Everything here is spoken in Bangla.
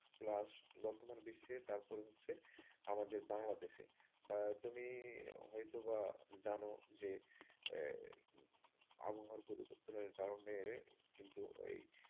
plus বর্তমান বিশ্বে। তারপরে হচ্ছে আমাদের বাংলাদেশে তুমি হয়তোবা জানো যে আবহাওয়া পরিবর্তনের কারণে কিন্তু ওই,